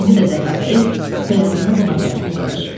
İndi də Zəhrabəyim bəyazını buna tərəf uzadır.